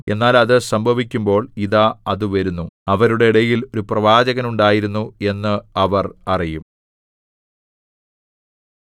എന്നാൽ അത് സംഭവിക്കുമ്പോൾ ഇതാ അത് വരുന്നു അവരുടെ ഇടയിൽ ഒരു പ്രവാചകൻ ഉണ്ടായിരുന്നു എന്ന് അവർ അറിയും